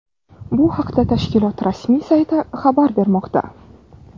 Bu haqda tashkilot rasmiy sayti xabar bermoqda.